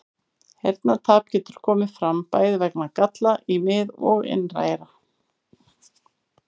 Heyrnartap getur komið fram bæði vegna galla í mið- og inneyra.